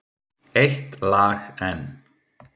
Eitt lag enn.